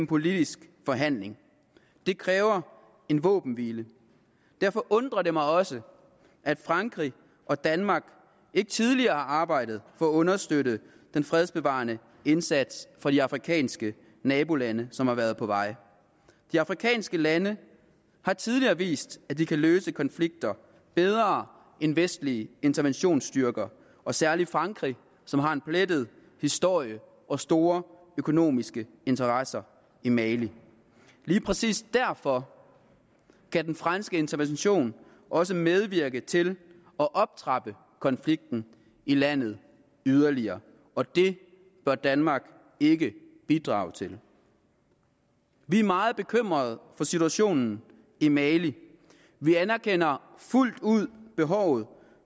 politisk forhandling det kræver en våbenhvile derfor undrer det mig også at frankrig og danmark ikke tidligere arbejdede på at understøtte den fredsbevarende indsats for de afrikanske nabolande som har været på vej de afrikanske lande har tidligere vist at de kan løse konflikter bedre end vestlige interventionsstyrker og særlig frankrig som har en plettet historie og store økonomiske interesser i mali lige præcis derfor kan den franske intervention også medvirke til at optrappe konflikten i landet yderligere og det bør danmark ikke bidrage til vi er meget bekymrede for situationen i mali vi anerkender fuldt ud behovet